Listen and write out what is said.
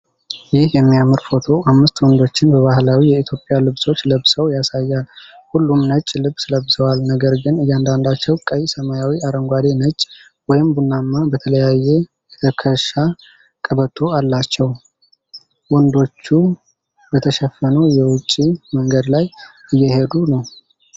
ይህ የሚያምር ፎቶ አምስት ወንዶችን በባህላዊ የኢትዮጵያ ልብሶች ለብሰው ያሳያል። ሁሉም ነጭ ልብስ ለብሰዋል፤ ነገር ግን እያንዳንዳቸው ቀይ፣ ሰማያዊ፣ አረንጓዴ፣ ነጭ ወይም ቡናማ በተለያየ የትከሻ ቀበቶ አላቸው። ወንዶቹ በተሸፈነው የውጪ መንገድ ላይ እየሄዱ ነው።